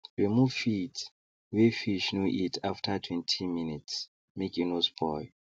remove feeds wey fish no eat after twenty minutes make e no spoil